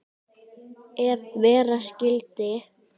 Ef vera skyldi.